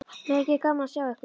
Mikið er gaman að sjá þig.